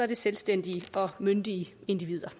det selvstændige og myndige individer